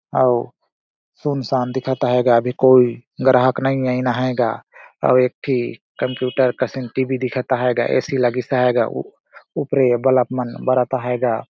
अउ सुनसान दिखत अहाय गा अभी कोई गराहक नई आईन अहाय गा अउ एक ठी कम्प्यूटर के सेंटी भी दिखत अहाय गा ए_सी लगीस अहाय गा उ उपरे बल्ब मन बरत अहाय गा।